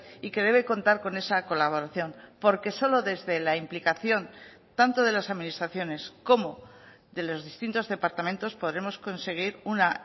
y que debe contar con esa colaboración porque solo desde la implicación tanto de las administraciones como de los distintos departamentos podremos conseguir una